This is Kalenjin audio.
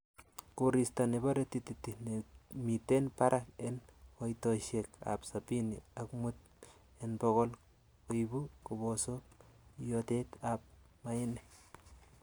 Koristo nebore tititi nemiten barak en koitosiek ab sabini ak mut en bogol koibu kobosok iyootet ab mainik.